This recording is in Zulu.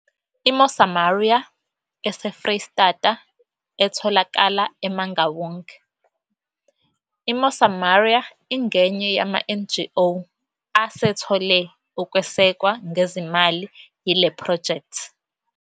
I-Mosamaria eseFreyistata etholakala eMangaung, i-Mosamaria ingenye yamaNGO asethole ukwesekwa ngezimali yile phrojekthi.